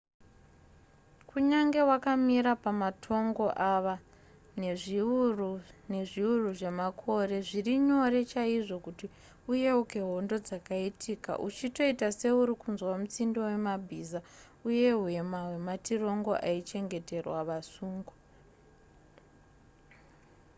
kunyange wakamira pamatongo ava nezviuru nezviuru zvemakore zviri nyore chaizvo kuti uyeuke hondo dzakaitika uchitoita seuri kunzwa mutsindo wemabhiza uye hwema hwematirongo aichengeterwa vasungwa